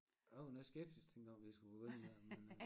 A var noget skeptisk dengang vi skulle begynde med det men øh